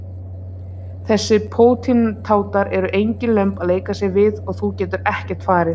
Þessir pótintátar eru engin lömb að leika sér við og þú getur ekkert farið.